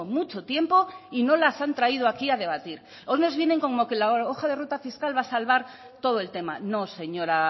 mucho tiempo y no las han traído aquí a debatir hoy nos vienen como que la hora hoja de ruta fiscal va a salvar todo el tema no señora